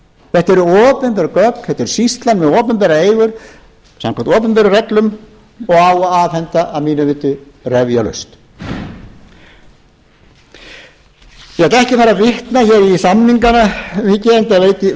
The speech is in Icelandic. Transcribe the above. þetta eru opinber gögn þetta er sýslað með opinberar eigur samkvæmt opinberum reglum og á að afhenda að mínu viti refjalaust ég ætla ekki að fara að vitna hér í samningana mikið enda